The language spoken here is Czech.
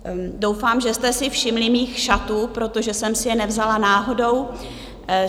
Doufám, že jste si všimli mých šatů, protože jsem si je nevzala náhodou.